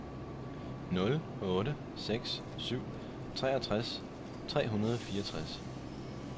nul otte seks syv treogtres tre hundrede og fireogtres